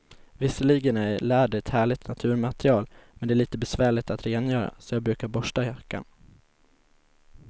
Visserligen är läder ett härligt naturmaterial, men det är lite besvärligt att rengöra, så jag brukar borsta jackan.